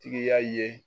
Tigiya ye